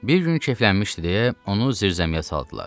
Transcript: Bir gün keyflənmişdi deyə onu zirzəmiyə saldılar.